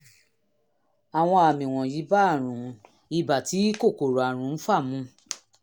àwọn àmì wọ̀nyí bá àrùn ibà tí kòkòrò àrùn ń fà mu